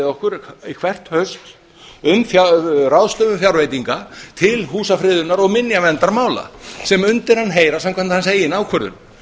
okkur hvert haust um ráðstöfun fjárveitinga til húsafriðunar og minjaverndarmála sem undir hann heyra samkvæmt hans eigin ákvörðun